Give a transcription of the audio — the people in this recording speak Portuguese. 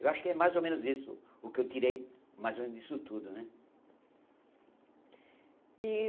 Eu acho que é mais ou menos isso, o que eu tirei mais ou menos disso tudo, né? ih